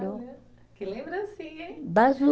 Que lembrancinha, hein? Das